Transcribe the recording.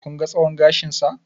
Kun ga tsawon gashinsa?